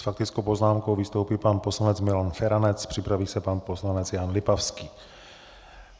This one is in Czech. S faktickou poznámkou vystoupí pan poslanec Milan Feranec, připraví se pan poslanec Jan Lipavský.